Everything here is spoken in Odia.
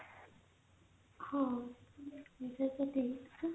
ହଁ କିନ୍ତୁ ସେ ମିଳୁଛି